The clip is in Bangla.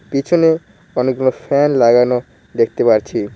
পিছনে অনেকগুলো ফ্যান লাগানো দেখতে পারছি।